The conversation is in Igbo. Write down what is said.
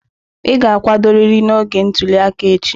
Ị ga-akwadorịrị n'oge ntuli aka echi!